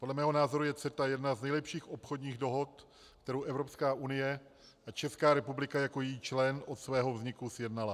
Podle mého názoru je CETA jedna z nejlepších obchodních dohod, kterou Evropská unie a Česká republika jako její člen od svého vzniku sjednala.